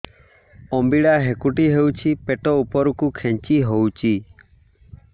ଅମ୍ବିଳା ହେକୁଟୀ ହେଉଛି ପେଟ ଉପରକୁ ଖେଞ୍ଚି ହଉଚି